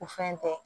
U fɛn tɛ